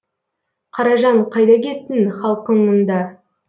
қаражан қайда кеттің халкың мұнда